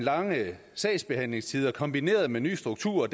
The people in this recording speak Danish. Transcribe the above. lange sagsbehandlingstider kombineret med ny struktur